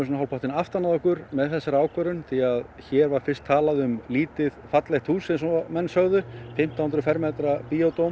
aftan að okkur með þessa ákvörðun hér var fyrst talað um lítið fallegt hús eins og menn sögðu fimmtán hundruð fermetra